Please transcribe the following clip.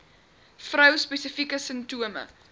vrou spesifieke simptome